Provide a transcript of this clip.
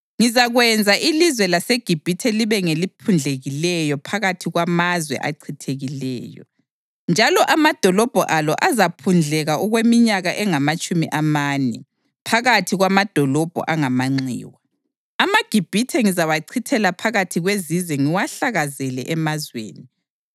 Ngizakwenza ilizwe laseGibhithe libe ngeliphundlekileyo phakathi kwamazwe achithekileyo, njalo amadolobho alo azaphundleka okweminyaka engamatshumi amane phakathi kwamadolobho angamanxiwa. AmaGibhithe ngizawachithela phakathi kwezizwe ngiwahlakazele emazweni.